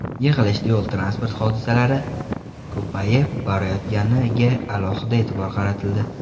Yig‘ilishda yo‘l-transport hodisalari ko‘payib borayotganiga alohida e’tibor qaratildi.